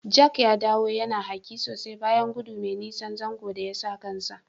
Jack ya dawo yana hake sosai bayan godu mai nisan zanzo da yasa kansa.